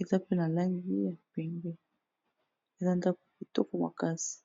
eza pe na langi ya pembe, eza ndako kitoko makasi.